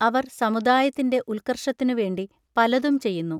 അവർ സമുദായത്തിന്റെ ഉൽക്കർഷത്തിനു വേണ്ടി പലതും ചെയ്യുന്നു.